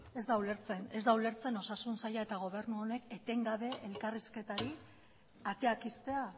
ez da ulertzen osasun saila eta gobernu honek etengabe elkarrizketari ateak ixtea